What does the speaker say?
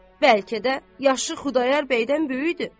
Bəlkə də yaşı Xudayar bəydən böyükdür.